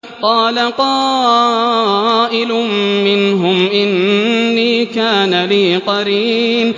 قَالَ قَائِلٌ مِّنْهُمْ إِنِّي كَانَ لِي قَرِينٌ